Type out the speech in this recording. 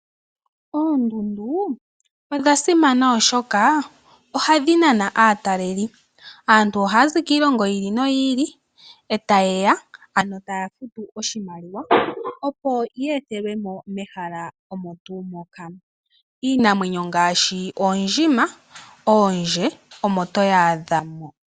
Oondundu odhasimana oshoka ohadhi nana aataleli taya aantu ohaya zi kiilongo yi ili noyi ili eta yeya ano taya futu oshimaliwa opo yethelwe mo mehala omo tuu moka. Iinamwenyo ngaashi oondjima, oondje omo toyadha moka.